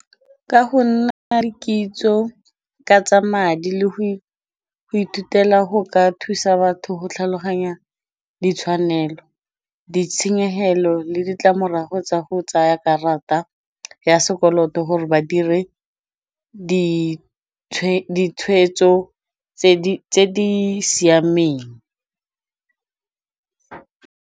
Ka go nna le kitso ka tsa madi le go ithutela go ka thusa batho go tlhaloganya ditshwanelo, ditshenyegelo le ditlamorago tsa go tsaya karata ya sekoloto gore ba dire ditshwetso tse di siameng.